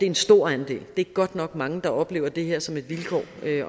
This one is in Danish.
en stor andel det er godt nok mange der oplever det her som et vilkår